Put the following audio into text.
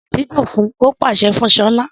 Kọ orin àdídùn fun! Ó pàṣẹ fún Ṣọlá.